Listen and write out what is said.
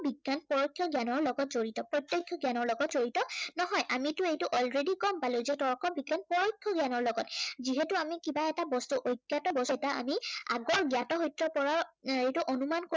বিজ্ঞান পৰোক্ষ জ্ঞানৰ লগত জড়িত। প্ৰত্য়ক্ষ জ্ঞানৰ লগত জড়িত নহয়। আমিটো এইটো already গম পালো যে তৰ্ক বিজ্ঞান পৰোক্ষ জ্ঞানৰ লগত। যিহেতু আমি কিবা এটা বস্তু, অজ্ঞাত বস্তু এটা আমি আগৰ জ্ঞাত সত্য়ৰ পৰা সেইটো অনুমান